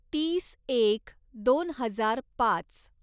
तीस एक दोन हजार पाच